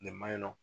Nin maɲi nɔ